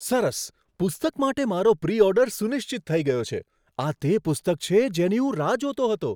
સરસ! પુસ્તક માટે મારો પ્રી ઓર્ડર સુનિશ્ચિત થઈ ગયો છે. આ તે પુસ્તક છે જેની હું રાહ જોતો હતો.